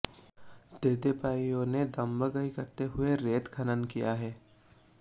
तेदेपाइयों ने दंबगई करते हुये रेत खनन किया है